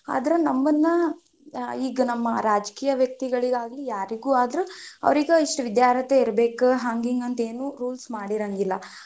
ಆದ್ರ ನಮ್ಮನ್ನ ಈಗ ನಮ್ಮ ರಾಜಕೀಯ ವ್ಯಕ್ತಿಗಳಿಗಾಗಿ ಯಾರಿಗೂ ಆದ್ರೂ ಅವ್ರಿಗ ಇಷ್ಟ್ ವಿದ್ಯಾರ್ಹತೆ ಇರ್ಬೆಕ್ ಹಂಗ್ ಹಿಂಗ್ ಅಂತ ಏನೂ ರೂಲ್ಸ್ ಮಾಡಿರಂಗಿಲ್ಲಾ.